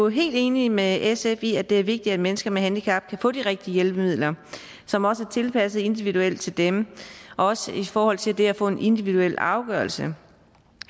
helt enige med sf i at det er vigtigt at mennesker med handicap kan få de rigtige hjælpemidler som også er tilpasset individuelt til dem også i forhold til det at få en individuel afgørelse